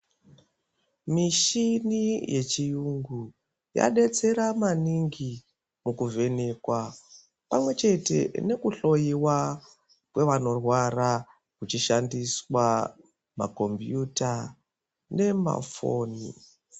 Muchini yechiyungu yadetsera maningi mukuvheneka pamwechete nekuhloiwa kwevanorwara muchishandiswa makombiyuta nemafoni.